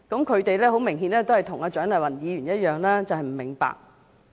他們很明顯跟蔣麗芸議員一樣不明白。